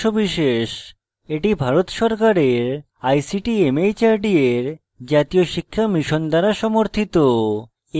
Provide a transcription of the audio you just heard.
এটি ভারত সরকারের ict mhrd এর জাতীয় শিক্ষা mission দ্বারা সমর্থিত